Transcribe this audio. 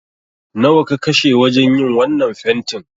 Nawa ka kashe wajen yin wannan fentin?